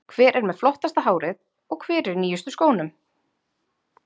Hver er með flottasta hárið og hver er í nýjustu skónum?